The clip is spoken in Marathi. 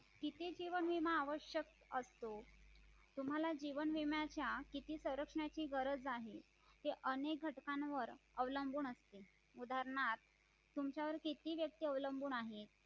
किती जीवन विमा आवश्यक्य असतो तुम्हाला जीवन विम्याच्या किती संरक्षणाची गरज आहे ही अनेक घटकावर अवलंबून असते उदाहरणार्थ तुमच्यावर किती व्यक्ती अवलंबून आहे